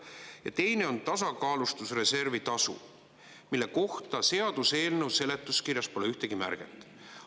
Ja teine on tasakaalustusreservi tasu, mille kohta seaduseelnõu seletuskirjas pole ühtegi märget.